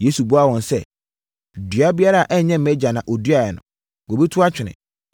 Yesu buaa wɔn sɛ, “Dua biara a ɛnyɛ mʼagya na ɔduaeɛ no, wɔbɛtu atwene.